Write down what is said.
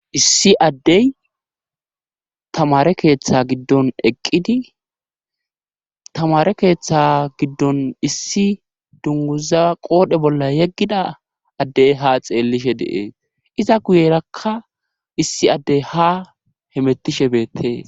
Issi addey tamare keeththa giddon eqqidi tamare keeththa giddon issi dunguza qoodhe bolla yeggida addey ha xeellishe deee iza guyerakka issi addey ha hemettishe beettee.